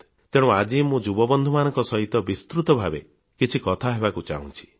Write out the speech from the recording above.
ତେଣୁ ଆଜି ମୁଁ ଯୁବବନ୍ଧୁମାନଙ୍କ ସହିତ ବିସ୍ତୃତ ଭାବରେ କିଛି କଥା ହେବାକୁ ଚାହୁଁଛି